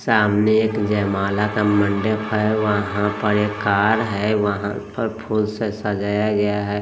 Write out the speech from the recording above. सामने एक जयमाला का मंडप है वहां पर एक कार है वहां पर फूल से सजाया गया है।